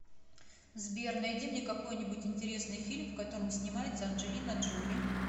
сбер найди мне какой нибудь интересный фильм в котором снимается анджелина джоли